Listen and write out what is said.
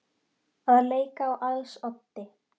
Að leika á als oddi